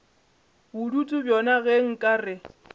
bodutu bjona ge nka re